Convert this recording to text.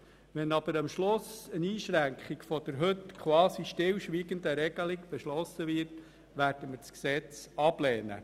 Wenn aber eine Einschränkung der heute quasi stillschweigend akzeptierten Regelung beschlossen wird, werden wir das Gesetz ablehnen.